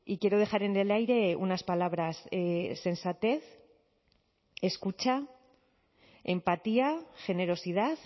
quiero dejar en el aire unas palabras sensatez escucha empatía generosidad